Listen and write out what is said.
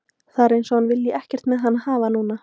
Það er eins og hann vilji ekkert með hann hafa núna.